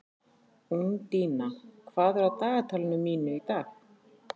Úndína, hvað er á dagatalinu mínu í dag?